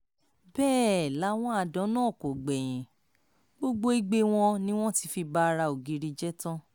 bẹ́ẹ̀ làwọn àdán náà kò gbẹ̀yìn gbogbo igbe wọn ni wọ́n ti fi ba ara ògiri jẹ́ tán